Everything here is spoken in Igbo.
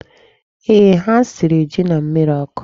Ee, ha siri ji na mmịrị ọkụ.